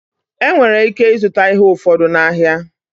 E nwere ike ịzụta ihe ụfọdụ n'ahịa.